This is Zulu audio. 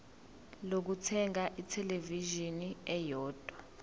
lokuthenga ithelevishini eyodwa